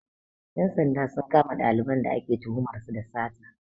Ƴan sanda sun kama ɗaliban da ake tuhumar su da sata